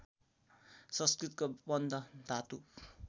संस्कृतको बन्ध धातु